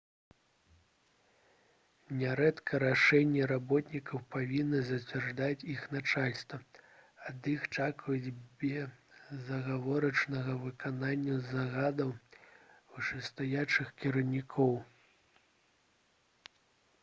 нярэдка рашэнні работнікаў павінна зацвярджаць іх начальства ад іх чакаюць безадгаворачнага выканання загадаў вышэйстаячых кіраўнікоў